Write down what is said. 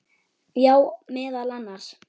Já, meðal annars.